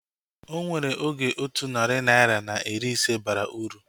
Onwere oge otu narị naira na iri ise bara uru